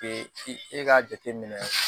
e k'a jateminɛ